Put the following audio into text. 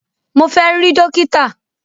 Mo fẹ́ rí dókítà!